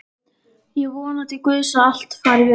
Ég vona til guðs að allt fari vel.